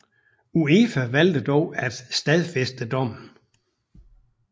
UEFA valgte dog at stadfæste dommen